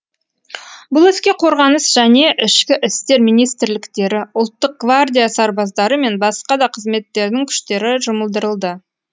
бұл іске қорғаныс және ішкі істер министрліктері ұлттық гвардия сарбаздары мен басқа да қызметтердің күштері жұмылдырылды